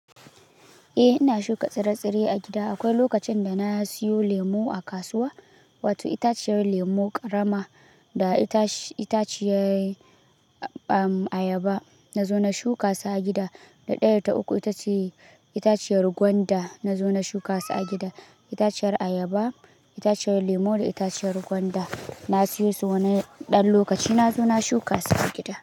Eh ina shuka tsire-tsire a gida. Akwai lokacin da na siyo lemu a kasuwa, wato itaciyar lemu ƙarama da itaci-itaciyar ayaba na zo na shuka su a gida. Da ɗaya ta uku itace itaciyar gwanda na zo na shuka su a gida. Itaciyar ayaba, itaciyar lemu da itaciyar gwanda. Na siyo su wani ɗan lokaci na zo na shuka su a gida.